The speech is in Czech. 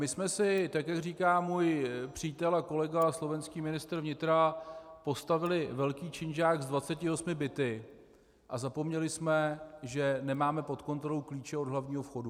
My jsme si, tak jak říká můj přítel a kolega slovenský ministr vnitra, postavili velký činžák s 28 byty a zapomněli jsme, že nemáme pod kontrolou klíče od hlavního vchodu.